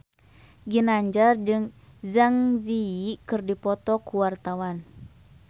Ginanjar jeung Zang Zi Yi keur dipoto ku wartawan